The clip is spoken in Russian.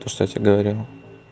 то что я тебе говорил